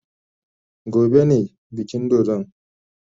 Gobe ne bikin dodon.